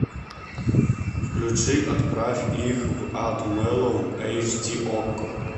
включи отправь их в ад мэлоун эйч ди окко